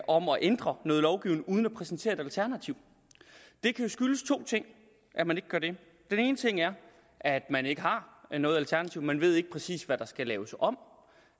om at ændre noget lovgivning uden at præsentere et alternativ det kan skyldes to ting at man ikke gør det den ene ting er at man ikke har noget alternativ man ved ikke præcis hvad der skal laves om